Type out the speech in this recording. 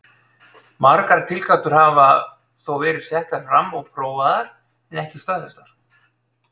Margar tilgátur hafa þó verið settar fram og prófaðar en ekki staðfestar.